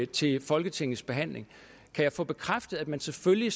til folketingets behandling kan jeg få bekræftet at man selvfølgelig